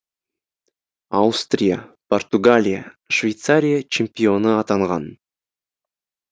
аустрия португалия швейцария чемпионы атанған